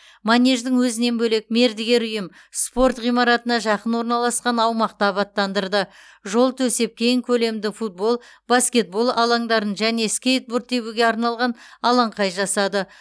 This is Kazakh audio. манеждің өзінен бөлек мердігер ұйым спорт ғимаратына жақын орналасқан аумақты абаттандырды жол төсеп кең көлемді футбол баскетбол алаңдарын және скейтборд тебуге арналған алаңқай жасады